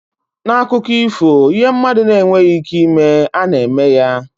N'akụkọ ifo, ihe mmadụ na-enweghị ike ịme, a na-eme ya.